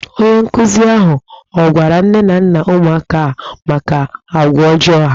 Onye nkụzi ahụ ọ gwara nne na nna ụmụaka a maka agwa ọjọọ ha?